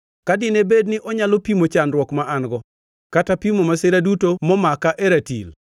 “Ka dine bed ni inyalo pimo chandruok ma an-go, kata pimo masira duto momaka e ratil,